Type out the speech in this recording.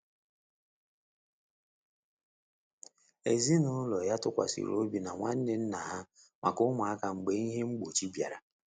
Ezinụlọ ya tụkwasịrị obi na nwanne nna ha maka ụmụaka mgbe ihe mgbochi bịara.